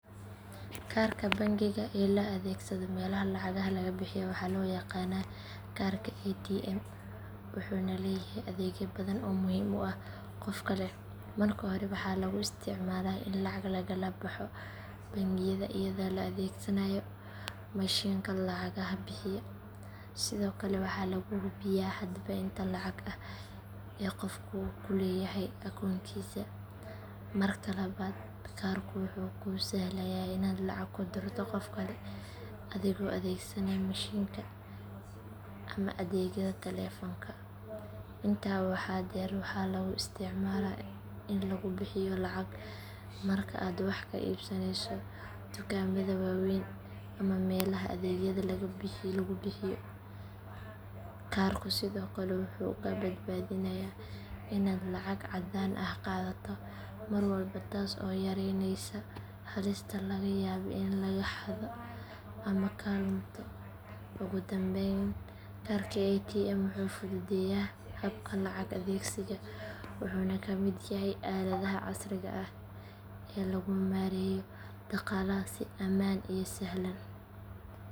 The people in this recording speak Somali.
Kaarka bangiga ee la adeegsado meelaha lacagaha laga bixiyo waxaa loo yaqaanaa kaarka ATM wuxuuna leeyahay adeegyo badan oo muhiim u ah qofka leh. Marka hore waxaa lagu isticmaalaa in lacag lagala baxo bangiyada iyadoo la adeegsanayo mashiinka lacagaha bixiya. Sidoo kale waxaa lagu hubiyaa hadba inta lacag ah ee qofku ku leeyahay akoonkiisa. Marka labaad kaarku wuxuu kuu sahlayaa inaad lacag ku dirto qof kale adigoo adeegsanaya mishiinka ama adeegyada taleefanka. Intaa waxaa dheer waxaa lagu isticmaalaa in lagu bixiyo lacag marka aad wax ka iibsanayso dukaamada waaweyn ama meelaha adeegyada lagu bixiyo. Kaarku sidoo kale wuxuu kaa badbaadinayaa inaad lacag caddaan ah qaadato mar walba taas oo yareyneysa halista laga yaabo in lagaa xado ama kaa lunto. Ugu dambayn kaarka ATM wuxuu fududeeyaa habka lacag adeegsiga wuxuuna ka mid yahay aaladaha casriga ah ee lagu maareeyo dhaqaalaha si ammaan iyo sahlan.